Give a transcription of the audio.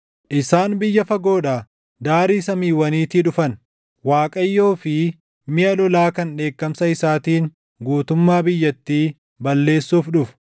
Isaan biyya fagoodhaa daarii samiiwwaniitii dhufan; Waaqayyoo fi miʼa lolaa kan dheekkamsa isaatiin guutummaa biyyattii balleessuuf dhufu.